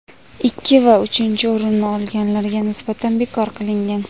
ikki va uchinchi o‘rinni olganlarga nisbatan bekor qilingan.